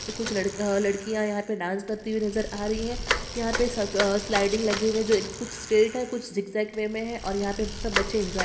तो कुछ लड़का लड़कियां यहाँ पर डांस करती नजर आ रही है यहाँ पे सब अ स्लाइडिंग लगे हुए हैजो कुछ स्ट्रैट है और कुछ जिक जेक वे मे है और यहाँ पे सब बच्चे इंजॉय--